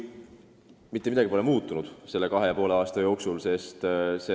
Mitte midagi pole muutunud selle kahe ja poole aasta jooksul.